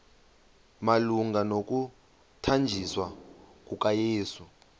malunga nokuthanjiswa kukayesu